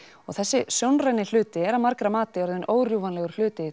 þessi sjónræni hluti er að margra mati orðinn órjúfanlegur hluti